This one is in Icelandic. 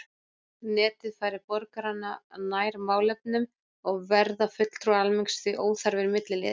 Netið færir borgarana nær málefnunum og verða fulltrúar almennings því óþarfir milliliðir.